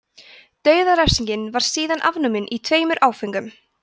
dauðarefsing var síðan afnumin í tveimur áföngum